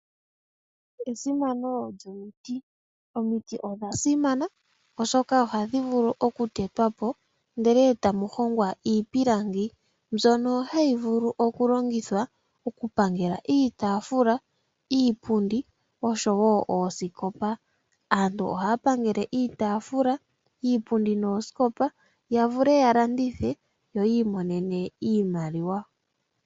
Omiti odha simana oshoka ohadhi vulu okutetwapo ndele etamu hongwa iipilangi. Iipilangi ohayi vulu okulongithwa okuhonga iitaafula , iipundi oshowoo oosikopa . Aantu ohaya pangele iitaafula , iipundi noosikopa yavule yalandithe yo yiimonene iimaliwa.